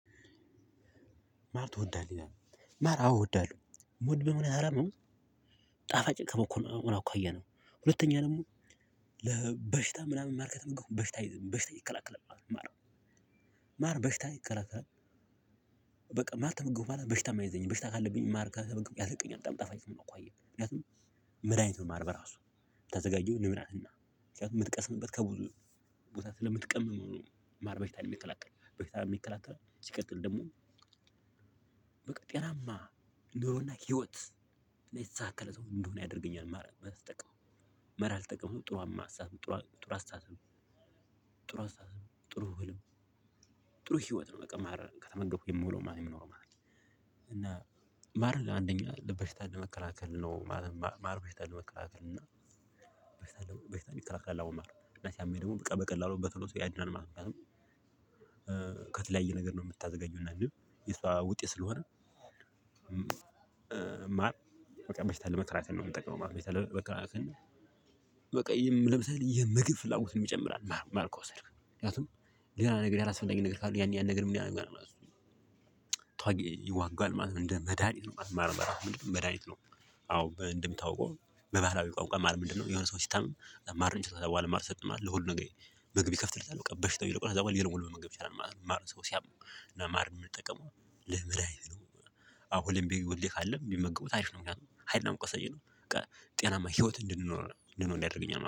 ማር ትወዳለህ ማር አዎ እወዳለሁ ምወድበት ምክንያት ሃዳምንድን ነው። ጣፋጭ ከመኮኑ አኳያ ነው ሁለተኛ ደግሞ ለበሽታ ምናምን ማር ከበላሁ በሽታ አይዝም በሽታ ይከላከላል ማለት ነው። ማር በሽታን ይከላከላል። በቃ ማር ተመገብኩ ማለት በሽታም አይዘኝ በሽታ ካለብኝ ማር ከተመገብኩ ያስለቅቀኛል በጣም ጣፋጭ ከመሆኑ አኳያ ምክንያቱም መድሃኒት ነው። ማር በራሱ የምታዘጋጀው ንብ ናትና ምክንያቱም የምትቀስምበት ከብዙ ቦታ ስለምትቀምም ማር በሽታን የሚከላከል በሽታንም ይከላከላል። ሲቀጥል ደግሞ በቃ ጤናማ ኑሮና ህይወት ላይ የተሳካለት ሰው እንድሆን ያደርገኛል ማለት ነው። ማር ስጠቀም ማር ሳልጠቅምም ጥሩም አሳብ ጥሩ አስተሳሰብ ጥሩ አስተሳሰብ ጥሩ ህልም ጥሩ ህይወት ነው። ማር ከተመገብኩ የምውለው ማለት የምኖረው ማር። ማር ለአንደኛ ለበሽታን ለመከላከል ነው ማለት ማር በሽታን ለመከላከል እና በሽታን ይከላከላል። አዎ ማር እና ሲያመኝ ደግሞ በቃ በቀላሉ በቶሎ ሰው ያድናል ማለት ነው። ምክንያቱም ከተለያየ ነገር ነው የምታዘጋጅውና እና ንብ የሷ ውጤት ስለሆነ። ማር በቃ በሽታን ለመከላከል ነው የሚጠቅመው በሽታን ለመከላከል። በቃ ለምሳሌ የምግብ ፍላጎትም ይጨምራል። ማር ከወሰድክ ምክንያቱም ሌላ ነገር ያላስፈላጊ ነገር ካለ ያን ያን ነገር ምን ያረጋል ማለት ነው። ተዋጊ ይዋጋል ማለት ነው እንደ መድሃኒት ማለት ነው። ማር ማለት አዎ በ እንደሚታውቀው በባህላዊ ቋንቋ ማር ምንድነው? የሆነ ሰው ሲታመም ማር ነው ሚሰጠው በኋላ ማር ሰጠን ማለት ለሁሉም ነገር ምግብ ይከፍትልታል በበሽታው ይለቀዉና ከዛ በኋላ ሌላውንም ሊመገብ ይችላል ማለት ነው። ማር ሰው ሲያም እና ማር የምንጠቀመው ለመድሃኒት ነው። አዎ ሁሌም ቢሆን ካለ ቢመገቡት አሪፍ ነው ምክንያቱም ሀይል እና ሙቀት ሰጪ ነው። በቃ ጤናማ ህይወት እንድንኖር እንድኖር ያደርገኛል ማለት ነው